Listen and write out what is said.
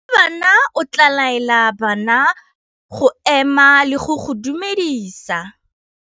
Morutabana o tla laela bana go ema le go go dumedisa.